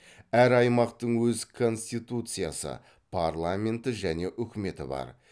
әр аймақтың өз конституциясы парламенты және үкіметі бар